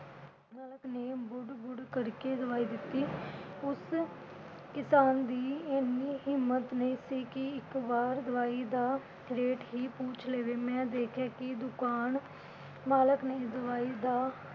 ਮਾਲਕ ਨੇ ਬੁੜ ਬੁੜ ਕਰਕੇ ਦਵਾਈ ਦਿੱਤੀ। ਉਸ ਕਿਸਾਨ ਦੀ ਇੰਨੀ ਹਿੰਮਤ ਨੀ ਸੀ ਇਕ ਵਾਰ ਦਵਾਈ ਦਾ rate ਹੀ ਪੁੱਛ ਲਵੇ। ਮੈਂ ਦੇਖਿਆ ਕਿ ਦੁਕਾਨ ਮਾਲਕ ਨੇ ਇਸ ਦਵਾਈ ਦਾ